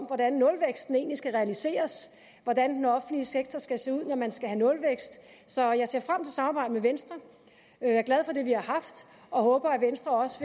hvordan nulvæksten egentlig skal realiseres hvordan den offentlige sektor skal se ud når man skal have nulvækst så jeg ser frem samarbejde med venstre jeg er glad for det vi har haft og håber at venstre også